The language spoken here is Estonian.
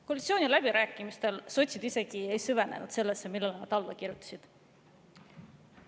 Koalitsiooniläbirääkimistel sotsid isegi ei süvenenud sellesse, millele nad alla kirjutasid.